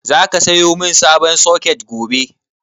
Zaka sayo min sabon soket gobe?